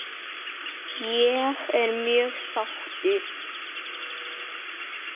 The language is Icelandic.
Ég er mjög sáttur.